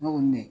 Ne ko ne